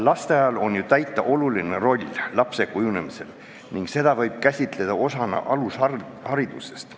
Lasteaial on ju täita oluline roll lapse kujunemisel ning seda võib käsitada osana alusharidusest.